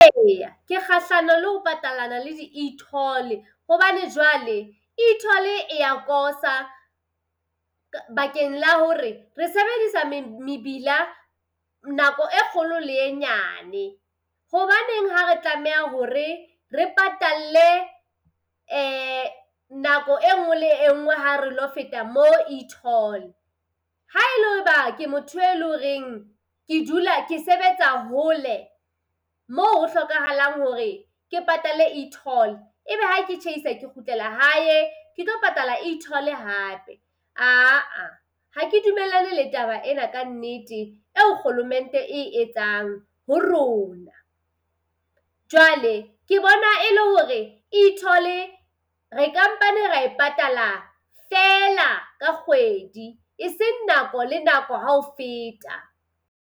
Eya ke kgahlanong le ho patalana le di-e-toll, hobane jwale e-toll e ya kosa bakeng la hore re sebedisa mebila nako e kgolo le e nyane. Hobaneng ha re tlameha hore re patalle nako enngwe le enngwe ha re lo feta mo e-toll? Ha e le hoba ke motho e le horeng ke dula ke sebetsa hole moo hlokahalang hore ke patale e-toll e be ha ke tjhaisa ke kgutlela hae ke tlo patala e-toll hape. Aa, ha ke dumellane le taba ena ka nnete eo kgolomente e etsang ho rona. Jwale ke bona e le hore e-toll re ka mpa ne ra e e patala feela ka kgoedi e seng nako le nako ha o feta.